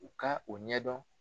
U ka o ɲɛ dɔn.